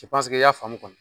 i y'a faamu kɔni